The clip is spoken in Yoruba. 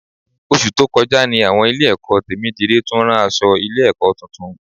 Oṣù tó kọjá ní àwọn Ilé-ẹ̀kọ́ Tèmídire tún ran aṣọ Ilé-ẹ̀kọ́ tuntun